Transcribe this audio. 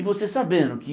E você sabendo que